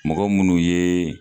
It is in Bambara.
Mɔgɔ munnu ye